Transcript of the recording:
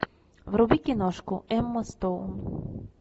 вруби киношку эмма стоун